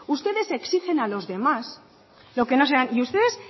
ustedes exigen a los demás lo que y ustedes